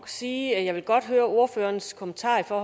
sige at jeg godt vil høre ordførerens kommentar